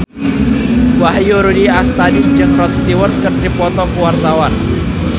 Wahyu Rudi Astadi jeung Rod Stewart keur dipoto ku wartawan